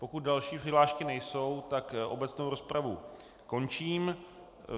Pokud další přihlášky nejsou, tak obecnou rozpravu končím.